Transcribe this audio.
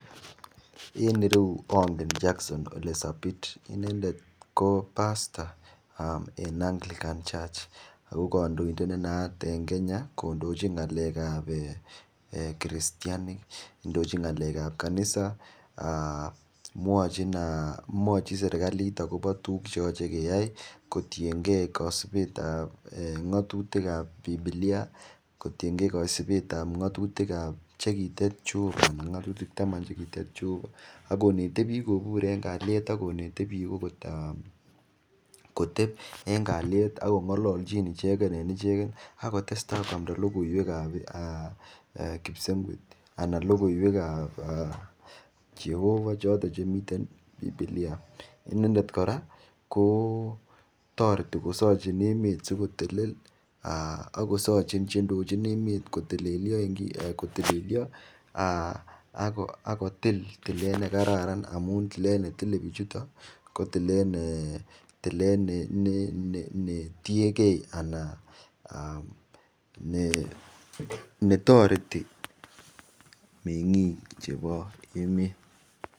En ireyu ongen Jackson Ole Sabit inendet ko pastor en Anglican Church ago kondoindet ne naat en Kenya kondochin ngalek ab kiristianik, indochin ngalek ab kanisa mwochin serkalit agobo tuguk che yoche keyoe kotienge kosibet ab ng'atutik ab Bibilia kotinenge kosibet ab ng'atutik che kitet Jehova ng'atutik taman che kitet Jehova ak konete biik kobur en kalyet ak konet biik agot koteb en kalyet ak kong'olochin ichegen en ichegen ak kotesta koamda logoiywek ab kipsengwet anan logoiywek ab Jehova choton chemiten Bibilia inendet kora kotoreti kosochin emet sikotelel ak kosochin che indochin emet kotelelyo ak kotil tilet nekararan amun tilet netile bichuto kotilet ne tienge anan ne toreti meng'ik chebo emet